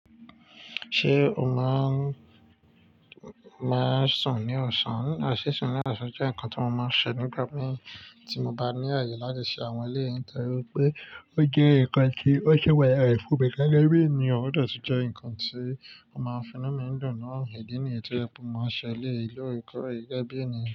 Ṣé o máa n máa n sún ní ọ̀sán? A sì sún ní ọ̀sán jẹ́ nǹkan ti mo máa ń ṣe nígbà mí tí mo bá ní àyè láti ṣe àwọn ilé yẹn torí pé ó jẹ́ ǹkan tí ó ṣe wáyé rẹ̀ fún mi gágá bí ènìyàn ó dàbí sì jẹ́ ǹkan tí ó máa ń finú mi dùn náà, ìdí nìyí tí ẹ bú máa ń ṣe ilé ìlọ́rùkọ rẹ̀ gẹ́gẹ́ bí ènìyàn.